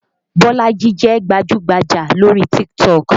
Bolaji jẹ́ gbajú-gbajà lórí TikTok